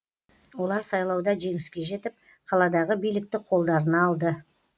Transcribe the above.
олар сайлауда жеңіске жетіп қаладағы билікті қолдарына алды